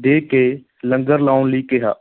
ਦੇ ਕੇ ਲੰਗਰ ਲਾਉਣ ਲਈ ਕਿਹਾ।